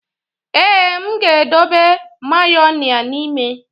Ee, m ga-edobe Mayonia n'ime.